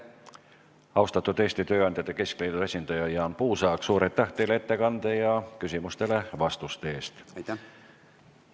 Austatud Eesti Tööandjate Keskliidu esindaja Jaan Puusaag, suur aitäh teile ettekande ja vastuse eest!